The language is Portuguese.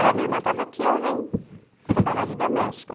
Aí a minha irmã estava aqui e eu vim trabalhar de doméstica.